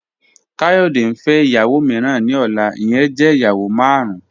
Kayode n fẹ iyawo miiran ni ọla, iyẹn jẹ iyawo marun.